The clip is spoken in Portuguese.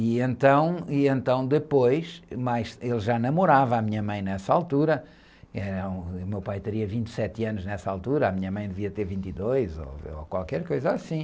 E então, e então depois, mas ele já namorava a minha mãe nessa altura, eh, o meu pai teria vinte e sete anos nessa altura, a minha mãe devia ter vinte e dois ou qualquer coisa assim.